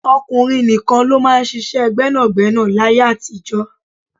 Ọkùnrin nìkan ló máa ń ṣíṣe gbẹ́nàgbẹ́nà láyé àtijó.